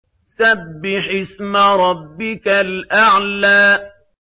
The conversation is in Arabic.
سَبِّحِ اسْمَ رَبِّكَ الْأَعْلَى